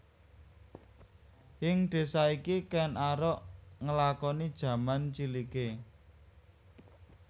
Ing désa iki Kèn Arok nglakoni jaman ciliké